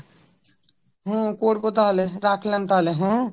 হম করব তাহলে রাখলাম তাহলে হ্যাঁ?